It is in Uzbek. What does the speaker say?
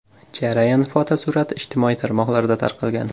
Jarayon fotosurati ijtimoiy tarmoqlarda tarqalgan.